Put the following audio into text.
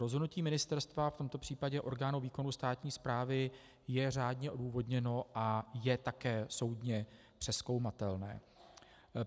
Rozhodnutí ministerstva, v tomto případě orgánu výkonu státní správy, je řádně odůvodněno a je také soudně přezkoumatelné.